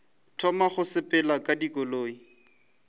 thoma go sepela ka dikoloi